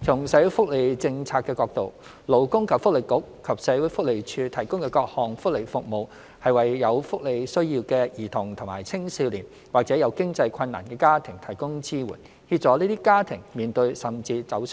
從社會福利政策的角度，勞工及福利局和社會福利署提供的各項福利服務，是為有福利需要的兒童及青少年或者有經濟困難的家庭提供支援，協助這些家庭面對甚至走